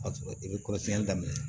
A sɔrɔ i bɛ kɔlɔsili daminɛ